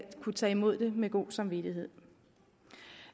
kunne tage imod det med god samvittighed